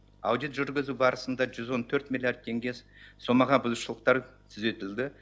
аудит жүргізу барысында жүз он төрт миллиард теңге сомаға бұзушылықтар түзетілді